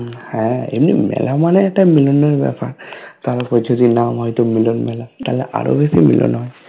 হ্যা এই মেলা মানে একটা মিলনের বেপার তার হইতেই তো নাম হয়েছে মিলন মেলা তাইলে আরো বেশি মিলন হবে